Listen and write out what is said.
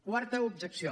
quarta objecció